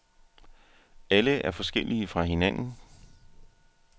Alle er forskellige fra hinanden.